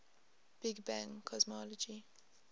big bang cosmology